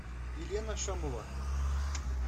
елена шамова